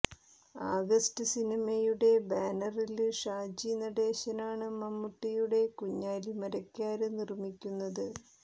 August സിനിമയുടെ ബാനറില് ഷാജി നടേശനാണ് മമ്മൂട്ടിയുടെ കുഞ്ഞാലി മരക്കാര് നിര്മ്മിക്കുന്നത്